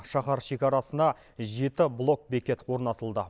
шаһар шекарасына жеті блокбекет орнатылды